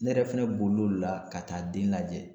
Ne yɛrɛ fɛnɛ bolilen o le la ka taa den lajɛ